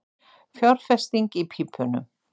Fjárfesting í pípunum